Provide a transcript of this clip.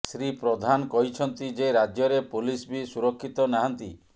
ଶ୍ରୀ ପ୍ରଧାନ କହିଛନ୍ତି ଯେ ରାଜ୍ୟରେ ପୋଲିସ ବି ସୁରକ୍ଷିତ ନାହାନ୍ତି